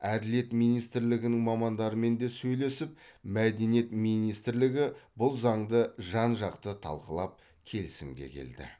әділет министрлігінің мамандарымен де сөйлесіп мәдениет министрлігі бұл заңды жан жақты талқылап келісімге келді